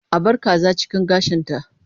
A bar kaza cikin gashinta.